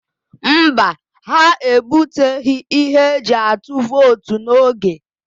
Mba, ha ebuteghị ihe eji atụ vootu n'oge.